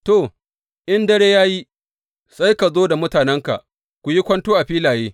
To, in dare ya yi, sai ka zo da mutanenka ku yi kwanto a filaye.